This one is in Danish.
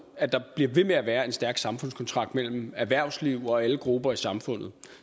at der bliver ved med at være en stærk samfundskontrakt mellem erhvervsliv og alle grupper i samfundet